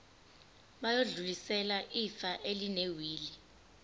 bayodlulisela ifa elinewili